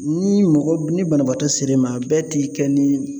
Ni mɔgɔ ni banabaatɔ ser'e ma a bɛɛ ti kɛ ni